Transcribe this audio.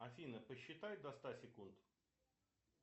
афина посчитай до ста секунд